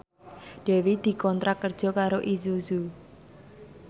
Dewi dikontrak kerja karo Isuzu